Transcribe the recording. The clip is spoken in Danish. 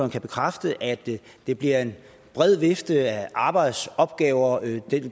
kan bekræfte at det bliver en bred vifte af arbejdsopgaver